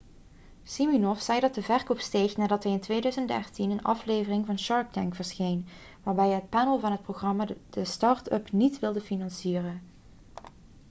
siminoff zei dat de verkoop steeg nadat hij in 2013 in een aflevering van shark tank verscheen waarbij het panel van het programma de start-up niet wilde financieren